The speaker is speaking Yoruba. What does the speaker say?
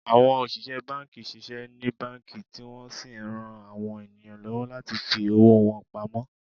Àwọn òṣìṣẹ́ banki ṣiṣẹ́ ní banki, tí wọ́n sì ń rán àwọn ènìyàn lọ́wọ́ láti fi owó wọn pamó